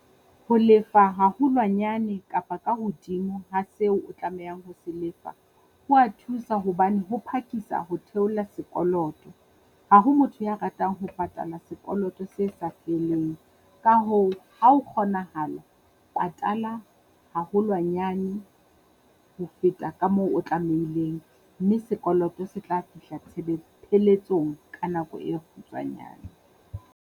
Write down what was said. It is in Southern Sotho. Ho lefa haholwanyane kapa ka hodimo ha seo o tlamehang ho se lefa, ho a thusa hobane ho phakisa ho theola sekoloto. Ha ho motho ya ratang ho patala sekoloto se sa feleng, ka hoo ha ho kgonahala patala haholwanyane ho feta ka moo o tlamehileng. Mme sekoloto se tla fihla pheletsong ka nako e kgutswanyana.